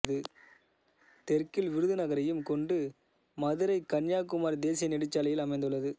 தெற்கில் விருதுநகரையும் கொண்டு மதுரை கன்னியாகுமரி தேசிய நெடுஞ்சாலையில் அமைந்துள்ளது